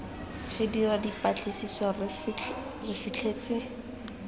re dira dipatlisiso re fitlhetse